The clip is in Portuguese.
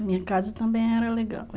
A minha casa também era legal.